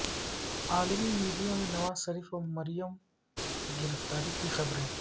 عالمی میڈیا میں نواز شریف اور مریم کی گرفتاری کی خبریں